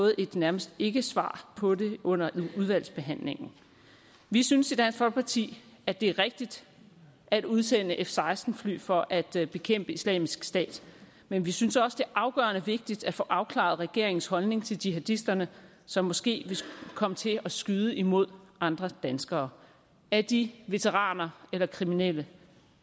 et nærmest ikkesvar på det under udvalgsbehandlingen vi synes i dansk folkeparti at det er rigtigt at udsende f seksten fly for at bekæmpe islamisk stat men vi synes også det er afgørende vigtigt at få afklaret regeringens holdning til jihadisterne som måske vil komme til at skyde imod andre danskere er de veteraner eller kriminelle